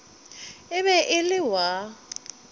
e be e le wa